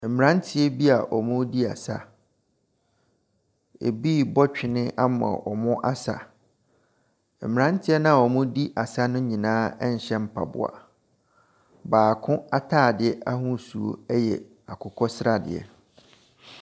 Mmeranteɛ bi a wɔredi asa. Ebi rebɔ twene ama wɔasa. Mmeranteɛ a wɔredi asa no nyinaa nhyɛ mpaboa. Baako atadeɛ ahosuo yɛ akokɔ sradeɛ.